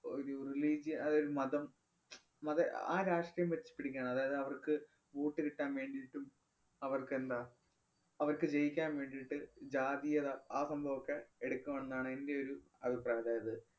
ഒരു religion അഹ് മതം മത~ അഹ് ആ രാഷ്ട്രീയം വച്ച് പിടിക്കണം. അതായത് അവര്‍ക്ക് vote കിട്ടാന്‍ വേണ്ടീട്ടും അവര്‍ക്ക് എന്താ അവര്‍ക്ക് ജയിക്കാന്‍ വേണ്ടീട്ട് ജാതീയത ആ സംഭവമൊക്കെ എടുക്കുവെന്നാണ് എന്‍റെ ഒരു അഭിപ്രായം. അതായത്